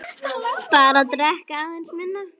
Bara drekka aðeins minna.